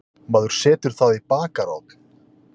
Maður setur það í bakarofn.